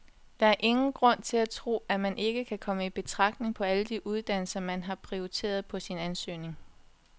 Der er ingen grund til at tro, at man ikke kommer i betragtning på alle de uddannelser, som man har prioriteret på sin ansøgning.